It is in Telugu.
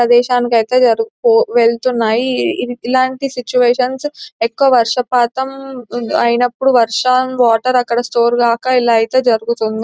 ప్రదేశానికి అయితే వెళ్తున్నాయి ఇలాంటి సిక్చువేషన్స్ ఎక్కువ వర్సపాతం అయినప్పుడు వర్షం -వాటర్ అక్కడ స్టోర్ గాక ఇలా అయితే జరుగుతుంది .